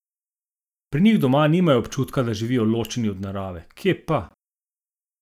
Pri njih doma nimajo občutka, da živijo ločeni od narave, kje pa!